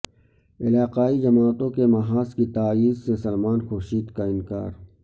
علاقائی جماعتوں کے محاذ کی تائید سے سلمان خورشید کا انکار